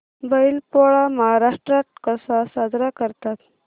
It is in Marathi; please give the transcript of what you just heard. बैल पोळा महाराष्ट्रात कसा साजरा करतात